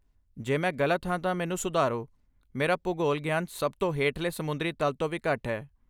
ਜੇ ਮੈਂ ਗਲਤ ਹਾਂ ਤਾਂ ਮੈਨੂੰ ਸੁਧਾਰੋ, ਮੇਰਾ ਭੂਗੋਲ ਗਿਆਨ ਸਭ ਤੋਂ ਹੇਠਲੇ ਸਮੁੰਦਰੀ ਤਲ ਤੋਂ ਵੀ ਘੱਟ ਹੈ।